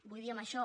vull dir amb això